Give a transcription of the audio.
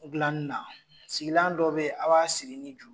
Gilanni na sigilan dɔ be ye a b'a siri ni juru